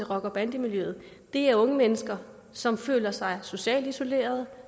rocker bande miljøet er unge mennesker som føler sig socialt isolerede